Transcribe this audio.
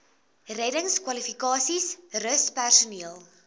reddingskwalifikasies rus personeel